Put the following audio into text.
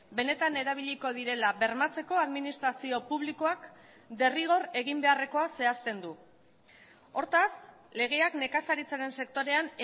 benetan erabiliko direla bermatzeko administrazio publikoak derrigor egin beharrekoa zehazten du hortaz legeak nekazaritzaren sektorean